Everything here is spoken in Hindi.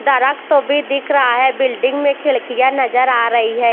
दरकतो भी दिख रहा है बिल्डिंग में खिड़किया नज़र आ रई है।